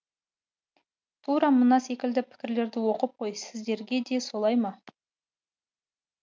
тура мына секілді пікірлерді оқып қой сіздерде де солай ма